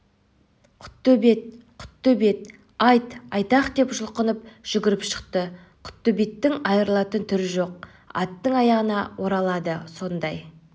құттөбет құттөбет айт айтақ деп жұлқынып жүгіріп шықты құттөбеттің айрылатын түрі жоқ аттың аяғына оралады сондай